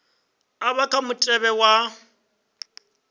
a vha kha mutevhe wa